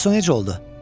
Bəs o necə oldu?